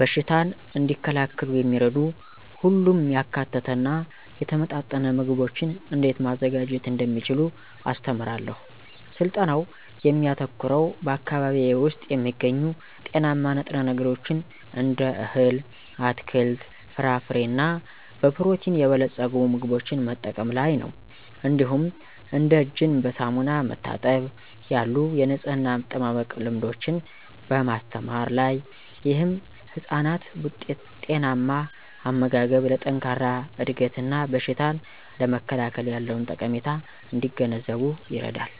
በሽታን እንዲከላከሉ የሚረዱ ሁሉንም ያካተተ እና የተመጣጠነ ምግቦችን እንዴት ማዘጋጀት እንደሚችሉ አስተምራለሁ። ስልጠናው የሚያተኩረው በአካባቢዬ ውስጥ የሚገኙ ጤናማ ንጥረ ነገሮችን እንደ እህል፣ አትክልት፣ ፍራፍሬ እና በፕሮቲን የበለጸጉ ምግቦችን መጠቀም ላይ ነው። እንዲሁም እንደ እጅን በሳሙና መታጠብ ያሉ የንፅህና አጠባበቅ ልምዶችን በማስተማር ላይ። ይህም ህፃናት ጤናማ አመጋገብ ለጠንካራ እድገት እና በሽታን ለመከላከል ያለውን ጠቀሜታ እንዲገነዘቡ ይረዳል።